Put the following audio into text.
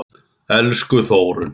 Elsku Þórunn.